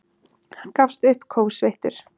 Hann gafst upp, kófsveittur.